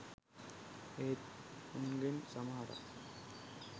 ඒත් උන්ගෙන් සමහරක් .